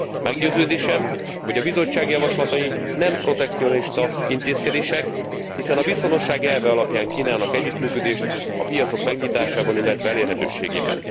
Meggyőződésem, hogy a Bizottság javaslatai nem protekcionista intézkedések, hiszen a viszonosság elve alapján kínálnak együttműködést a piacok megnyitásában, illetve elérhetőségében.